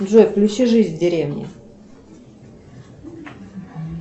джой включи жизнь в деревне